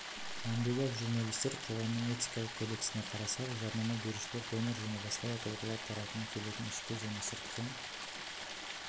әмбебап журналистер қоғамының этикалық кодексіне қарасақ жарнама берушілер донор және басқа да тұлғалар тарапынан келетін ішкі және сыртқы